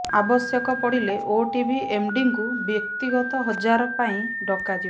ଆବଶ୍ୟକ ପଡ଼ିଲେ ଓଟିଭି ଏମଡିଙ୍କୁ ବ୍ୟକ୍ତିଗତ ହଜାର ପାଇଁ ଡକାଯିବ